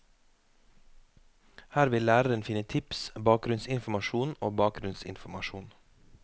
Her vil læreren finne tips, bakgrunnsinformasjon og bakgrunnsinformasjon.